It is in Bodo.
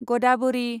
गदाबरि